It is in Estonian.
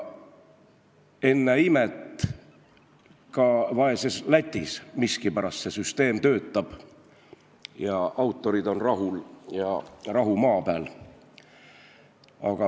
Ennäe imet, isegi vaeses Lätis miskipärast see süsteem töötab, autorid on rahul ja rahu maa peal.